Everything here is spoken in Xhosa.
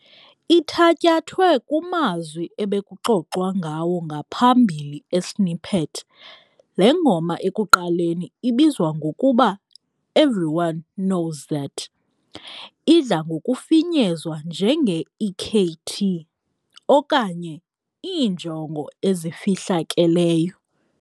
Ithatyathwe kumazwi ebekuxoxwa ngawo ngaphambili esnippet, le ngoma ekuqaleni ibizwa ngokuba Everyone Knows That idla ngokufinyezwa njenge-EKT okanye Iinjongo ezifihlakeleyo.